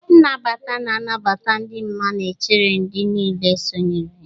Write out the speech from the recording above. Nnabata na nnabata dị mma na-echere ndị niile sonyere.